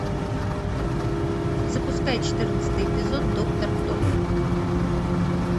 запускай четырнадцатый эпизод доктор кто